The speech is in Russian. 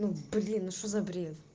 блин ну что за бред